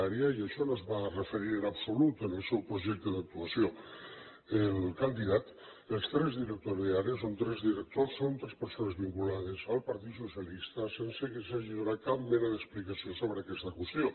i a això no s’hi va referir en absolut en el seu projecte d’actuació el candidat els tres directors d’àrea són tres persones vinculades al partit socialista sense que s’hagi donat cap mena d’explicació sobre aquesta qüestió